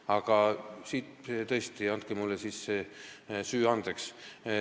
Aga tõesti, andke mulle see süü andeks.